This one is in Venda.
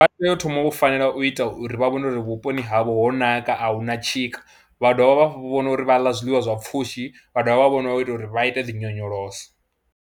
Vha tea u thoma u fanela u ita uri vha vhone uri vhuponi havho ho naka a hu na tshika, vha dovha vha vhona uri vha ḽa zwiḽiwa zwa pfhushi, vha dovha vha vhona uri vha ita uri vha ite dzi nyonyoloso.